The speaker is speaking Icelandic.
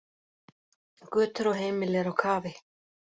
Götur og heimili eru á kafi